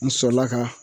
N sɔrɔla ka